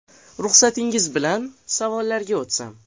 Ruxsatingiz bilan savollarga o ‘tsam.